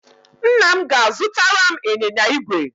Nna m ga-azụtara m ịnyịnya igwe.